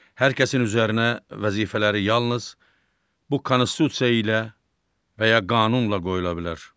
Hər kəsin üzərinə vəzifələri yalnız bu konstitusiya ilə və ya qanunla qoyula bilər.